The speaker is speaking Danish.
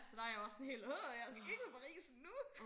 Så der er jeg også sådan helt jeg skal ikke til Paris nu